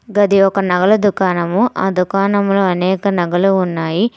గది ఒక నగల దుకాణము ఆ దుకాణంలో అనేక నగలు ఉన్నాయి.